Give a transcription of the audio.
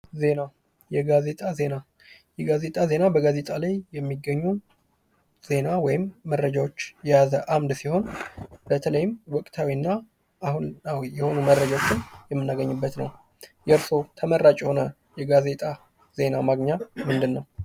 ዜና የጋዜጣ ዜና የጋዜጣ ዜና በጋዜጣ ላይ የሚገኙ ዜና ወይም መረጃወች የያዘ አምድ ሲሆን በተለይም ወቅታዊ እና አሁናዊ የሆኑ መረጃወችን የምናገኝበት ነው። የእርሶ ተመራጭ የሆነ የጋዜጣ ዜና ማግኛ ምንድን ነው።